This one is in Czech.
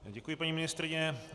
Děkuji, paní ministryně.